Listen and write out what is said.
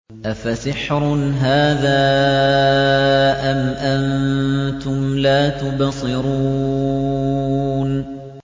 أَفَسِحْرٌ هَٰذَا أَمْ أَنتُمْ لَا تُبْصِرُونَ